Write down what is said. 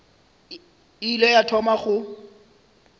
e ile ya thoma go